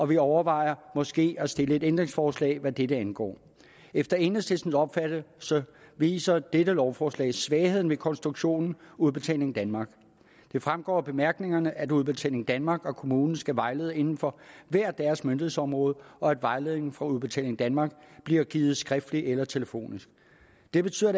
vi overvejer måske at stille et ændringsforslag hvad dette angår efter enhedslistens opfattelse viser dette lovforslag svagheden ved konstruktionen udbetaling danmark det fremgår af bemærkningerne at udbetaling danmark og kommunen skal vejlede inden for hver deres myndighedsområde og at vejledningen fra udbetaling danmark bliver givet skriftligt eller telefonisk det betyder